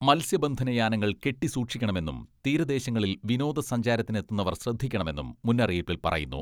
മത്സ്യബന്ധന യാനങ്ങൾ കെട്ടി സൂക്ഷിക്കണമെന്നും തീരദേശങ്ങളിൽ വിനോദ സഞ്ചാരത്തിനെത്തുന്നവർ ശ്രദ്ധിക്കണമെന്നും മുന്നറിയിപ്പിൽ പറയുന്നു.